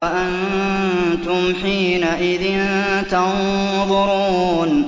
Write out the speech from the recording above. وَأَنتُمْ حِينَئِذٍ تَنظُرُونَ